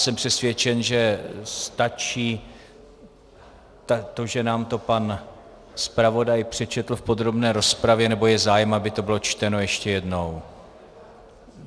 Jsem přesvědčen, že stačí to, že nám to pan zpravodaj přečetl v podrobné rozpravě - nebo je zájem, aby to bylo čteno ještě jednou?